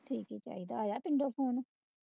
ਠੀਕ ਈ ਚਾਹੀਦਾ ਆ ਆਇਆ ਪਿੰਡੋਂ phone